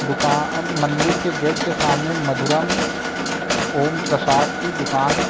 दुका अ मंदिर के गेट के सामने मधुरम ओम प्रसाद की दुकान --